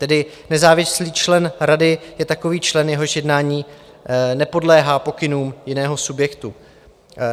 Tedy nezávislý člen rady je takový člen, jehož jednání nepodléhá pokynům jiného subjektu.